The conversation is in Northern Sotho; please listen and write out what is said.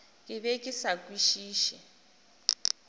ke be ke sa kwešiše